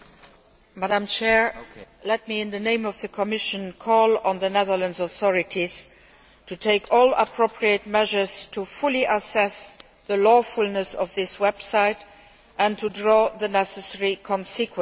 Madam President, in the name of the Commission, let me call on the Netherlands authorities to take all appropriate measures to fully assess the lawfulness of this website and to draw the necessary consequences.